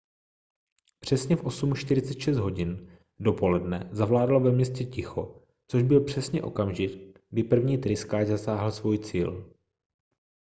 přesně v 8:46 hodin dopoledne zavládlo ve městě ticho což byl přesně okamžik kdy první tryskáč zasáhl svůj cíl